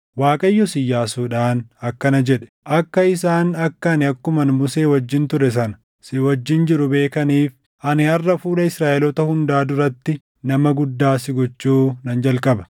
Waaqayyos Iyyaasuudhaan akkana jedhe; “Akka isaan akka ani akkuman Musee wajjin ture sana si wajjin jiru beekaniif, ani harʼa fuula Israaʼeloota hundaa duratti nama guddaa si gochuu nan jalqaba.